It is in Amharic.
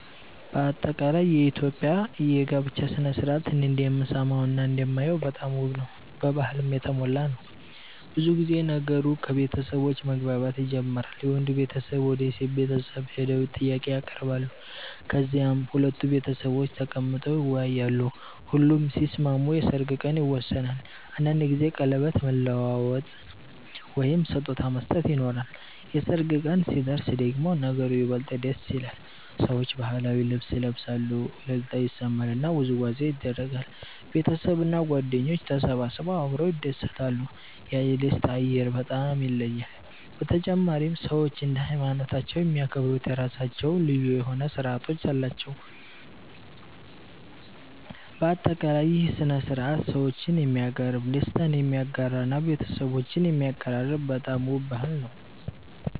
የኢትዮጵያ የጋብቻ ሥነ ሥርዓት እኔ እንደምሰማውና እንደማየው በጣም ውብ ነው፣ በባህልም የተሞላ ነው። ብዙ ጊዜ ነገሩ ከቤተሰቦች መግባባት ይጀምራል፤ የወንዱ ቤተሰብ ወደ የሴት ቤተሰብ ሄደው ጥያቄ ያቀርባሉ፣ ከዚያም ሁለቱ ቤተሰቦች ተቀምጠው ይወያያሉ። ሁሉም ሲስማሙ የሰርግ ቀን ይወሰናል፤ አንዳንድ ጊዜ ቀለበት መለዋወጥ ወይም ስጦታ መስጠት ይኖራል። የሰርግ ቀን ሲደርስ ደግሞ ነገሩ ይበልጥ ደስ ይላል፤ ሰዎች ባህላዊ ልብስ ይለብሳሉ፣ እልልታ ይሰማል እና ውዝዋዜ ይደረጋል። ቤተሰብና ጓደኞች ተሰብስበው አብረው ይደሰታሉ፤ ያ የደስታ አየር በጣም ይለያል። በተጨማሪም ሰዎች እንደ ሃይማኖታቸው የሚያከብሩት የራሳቸው ልዩ ሥነ ሥርዓቶች አሉ። በአጠቃላይ ይህ ሥነ ሥርዓት ሰዎችን የሚያቀርብ፣ ደስታን የሚያጋራ እና ቤተሰቦችን የሚያቀራርብ በጣም ውብ ባህል ነው።